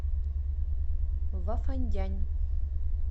вафандянь